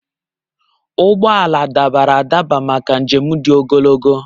Ụgbọ ala dabara adaba maka njem dị ogologo.